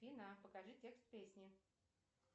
афина покажи текст песни